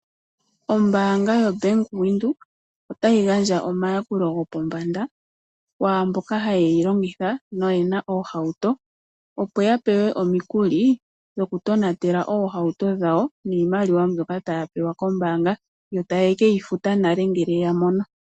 Ombaanga yo Bank Windhoek otayi gandja omayakulo go pombanda kwaamboka haye yi longitha na oyena oohauto, opo ya pewe omikuli dhokutonatela oohauto dhawo niimaliwa mbyoka taya pewa kombaanga. Yo taye keyi futa nale ngele ya mono.